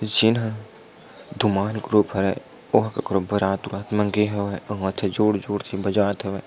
जेना धुमान ग्रुप हे और बारात उरात लगे हवे उंहा जोर - जोर के बजात हवे।